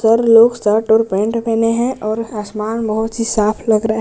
हर लोग शर्ट और पैंट पहने हैं और आसमान बहुत ही साफ लग रहा है।